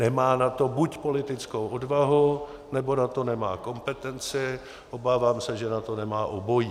Nemá na to buď politickou odvahu, nebo na to nemá kompetenci, obávám se, že na to nemá obojí.